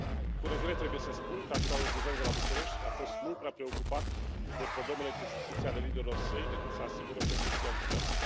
Cu regret trebuie să spun că actualul guvern de la București a fost mult prea preocupat de problemele cu justiția ale liderilor săi, ca să asigure președinția ambițioasă.